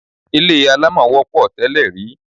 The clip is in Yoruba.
Ilé alámọ̀ wọ́pọ̀ tẹ́lè rí.